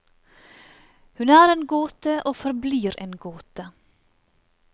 Hun er en gåte og forblir en gåte.